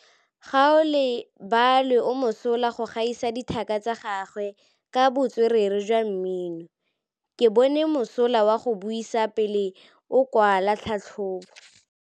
Gaolebalwe o mosola go gaisa dithaka tsa gagwe ka botswerere jwa mmino. Ke bone mosola wa go buisa pele o kwala tlhatlhobô.